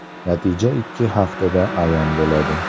Natija ikki haftada ayon bo‘ladi”.